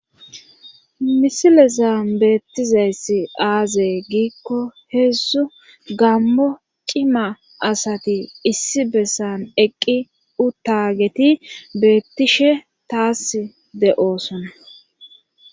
misilezan beettizayssi aaze giikko heedzdzu gaammo cima asati issi bessan eqqi uttaageti beettishe taassi de7oosona.